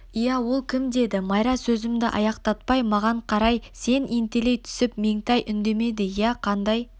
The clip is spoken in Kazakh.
иә ол кім деді майра сөзімді аяқтатпай маған қарай сәл ентелей түсіп меңтай үндемеді иә қандай